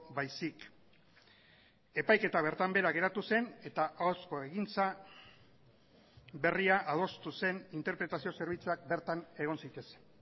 baizik epaiketa bertan behera geratu zen eta ahozko egintza berria adostu zen interpretazio zerbitzuak bertan egon zitezen